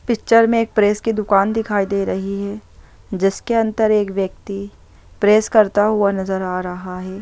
Picture में एक press की दूकान दिखाई दे रही है जिसके अंदर एक व्यक्ति प्रेस करता हुआ नजर आ रहा है।